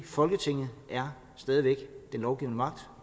folketinget er stadig væk den lovgivende magt